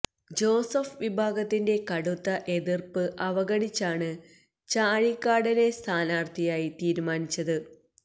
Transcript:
Joseph വിഭാഗത്തിന്റെ കടുത്ത എതിര്പ്പ് അവഗണിച്ചാണ് ചാഴികാടനെ സ്ഥാനാര്ത്ഥിയായി തീരുമാനിച്ചത്